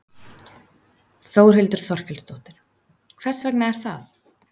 Þórhildur Þorkelsdóttir: Hvers vegna er það?